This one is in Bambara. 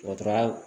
Dɔgɔtɔrɔya